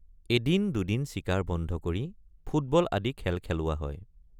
এদিন দুদিন চিকাৰ বন্ধ কৰি ফুটবল আদি খেল খেলোৱা হয়।